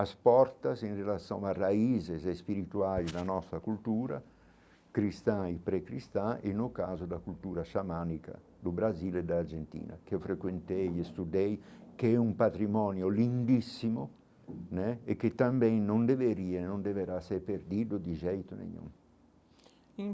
As portas, em relação a raízes espirituais da nossa cultura cristã e pré-cristã, e no caso da cultura xamânica do Brasil e da Argentina, que eu frequentei e estudei, que é um patrimônio lindíssimo né e que também não deveria, não deverá ser perdido de jeito nenhum